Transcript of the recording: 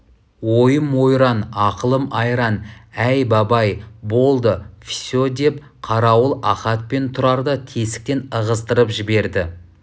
ойым ойран ақылым айран әй бабай болды все деп қарауыл ахат пен тұрарды тесіктен ығыстырып жіберді